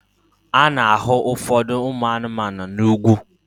A na-ahụ ụfọdụ ụmụ anụmanụ n'ugwu